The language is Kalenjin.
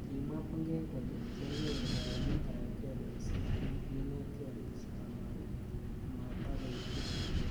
Kimwa Bungei kole kianyoru kaimet ab kei missing amu kinetkei missing amatakoityi.